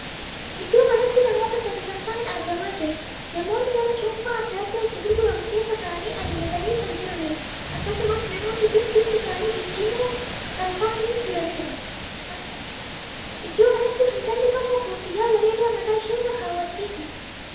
Iddoo kanatti namoota sadii kan taa'an argamaa jira. namoonni mana cuunfaan addaa addaa itti gurguramu keessa taa'anii ajajatanii kan jiranidha. akkasumas namoonni kun bifti isaanii diddiimoo kan taa'aniidha. iddoo kanatti intalli tokko koffiyyaa bareedaa mataa ishee irra kaawwattee jirti.